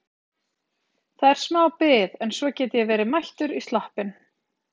Það er smá bið en svo get ég verið mættur í sloppinn.